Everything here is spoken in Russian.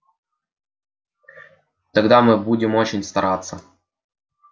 тогда мы будем очень стараться